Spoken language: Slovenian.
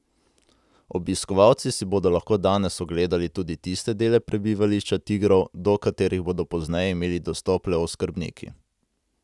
Obiskovalci si bodo lahko danes ogledali tudi tiste dele prebivališča tigrov, do katerih bodo pozneje imeli dostop le oskrbniki.